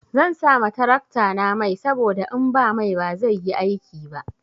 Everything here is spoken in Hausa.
Zan sa ma taraktana mai saboda in ba mai ba zai yi aiki ba.